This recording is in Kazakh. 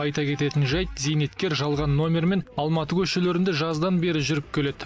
айта кететін жайт зейнеткер жалған нөмірмен алматы көшелерінде жаздан бері жүріп келеді